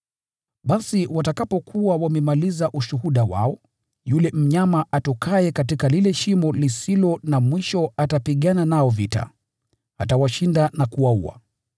Basi watakapokuwa wamemaliza ushuhuda wao, yule mnyama atokaye katika lile Shimo atapigana nao vita, atawashinda na kuwaua.